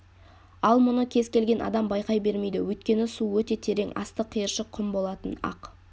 ал мұны кез келген адам байқай бермейді өйткені су өте терең асты қиыршық құм болатын ақ